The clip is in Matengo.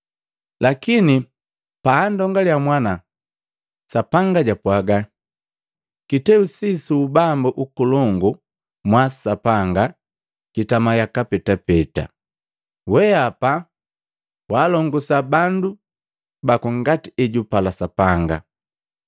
Lakini paandongaliya Mwana; Sapanga japwaga, “Kiteu sii su Ubambu Ukolongu mwa Sapanga kitama yaka petapeta! Weapa waalongosa bandu baku ngati ejupala Sapanga.